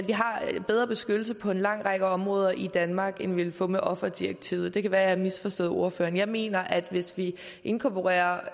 har bedre beskyttelse på en lang række områder i danmark end vi vil få med offerdirektivet det kan være jeg har misforstået ordføreren jeg mener at hvis vi inkorporerer